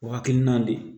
O hakilina de